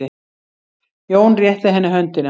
Jón rétti henni höndina.